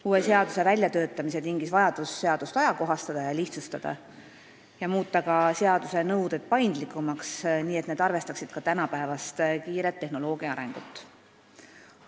Uue seaduse väljatöötamise tingis vajadus seadust ajakohastada ja lihtsustada ning ka muuta seaduse nõuded paindlikumaks, nii et need arvestaksid tänapäevast kiiret tehnoloogia arengut.